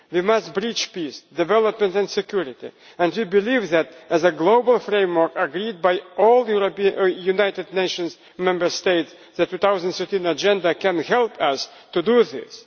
We must preach peace, development and security, and we believe that, as a global framework agreed by all the United Nations member states, the 2013 agenda can help us to do